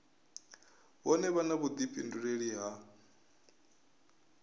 vhone vha na vhuḓifhinduleli ha